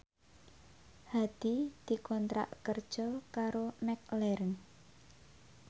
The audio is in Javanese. Hadi dikontrak kerja karo McLaren